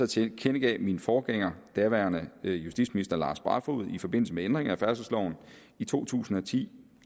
tilkendegav min forgænger daværende justitsminister lars barfoed i forbindelse med ændringen af færdselsloven i to tusind og ti